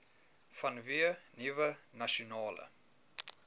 vanweë nuwe nasionale